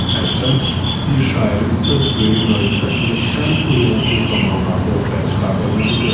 Hərçənd bir şairin öz böyük möcüzəsini ən uyğunsuz zamanlarda ortaya çıxardığını bilirəm.